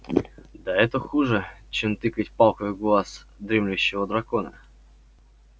да это хуже чем тыкать палкой в глаз дремлющего дракона